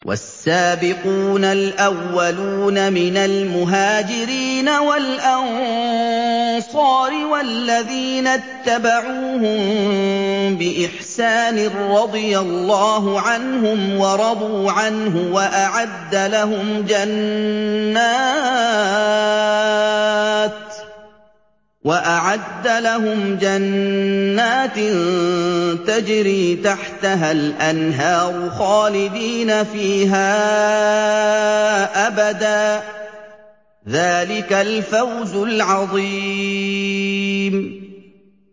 وَالسَّابِقُونَ الْأَوَّلُونَ مِنَ الْمُهَاجِرِينَ وَالْأَنصَارِ وَالَّذِينَ اتَّبَعُوهُم بِإِحْسَانٍ رَّضِيَ اللَّهُ عَنْهُمْ وَرَضُوا عَنْهُ وَأَعَدَّ لَهُمْ جَنَّاتٍ تَجْرِي تَحْتَهَا الْأَنْهَارُ خَالِدِينَ فِيهَا أَبَدًا ۚ ذَٰلِكَ الْفَوْزُ الْعَظِيمُ